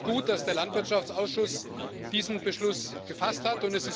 Deswegen ist es gut, dass der Landwirtschaftsausschuss diesen Beschluss gefasst hat.